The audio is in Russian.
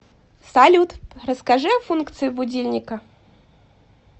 салют расскажи о функции будильника